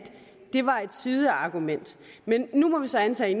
det var et sideargument men nu må vi så antage